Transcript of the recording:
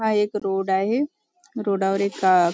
हा एक रोड आहे रोड वर एक --